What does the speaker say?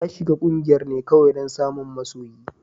Ta shiga kungiyar ne kawai don samun masoyi.